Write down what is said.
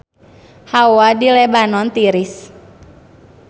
Hawa di Lebanon tiris